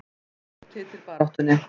Við erum ekki úr titilbaráttunni